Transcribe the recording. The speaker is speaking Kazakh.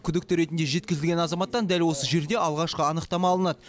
күдікті ретінде жеткізілген азаматтан дәл осы жерде алғашқы анықтама алынады